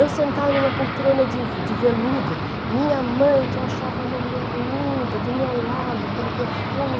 Eu sentada em uma poltrona de de veludo, minha mãe, que eu achava uma mulher linda, do meu lado, aquele perfume.